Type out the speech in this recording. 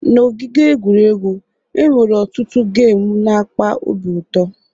N'ogige egwuregwu, e nwere ọtụtụ gemu n'akpa obi ụtọ